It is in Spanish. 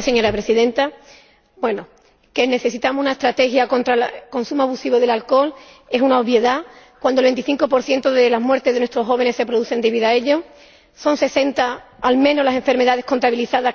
Señora Presidenta, que necesitamos una estrategia contra el consumo abusivo de alcohol es una obviedad cuando el 25 de las muertes de nuestros jóvenes se produce debido a ello son 60 al menos las enfermedades crónicas contabilizadas